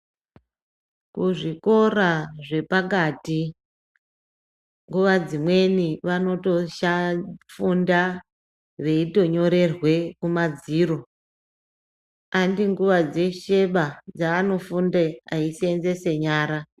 Kuzvikora zvepakati nguva dzimweni vanotofunda veitonyorerwa kuma dziro handinguva dzeshe ba dzavanofunda veyi seenzesa nyara.